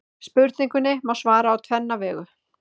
Spurningunni má svara á tvenna vegu.